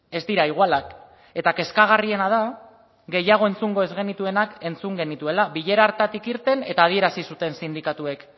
ez dira igualak eta kezkagarriena da gehiago entzungo ez genituenak entzun genituela bilera hartatik irten eta adierazi zuten sindikatuek